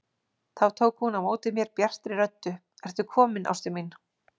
Þá tók hún á móti mér bjartri röddu: Ertu kominn ástin mín!